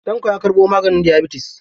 Tanko ya karɓo maganin diyabatis..